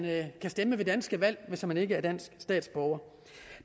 kan stemme ved danske valg hvis man ikke er dansk statsborger og